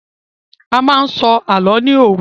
A máa n sọ àlọ ni òru.